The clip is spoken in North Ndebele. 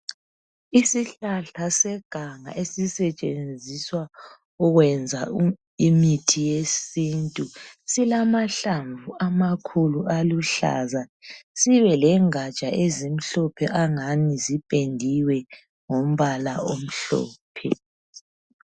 Isihlahla seganga esisetshenziswa ukwenza imithi yesintu silamahlamvu amakhulu aluhlaza sibe lengatsha ezimhlophe angani zipendiwe ngombala omhlophe.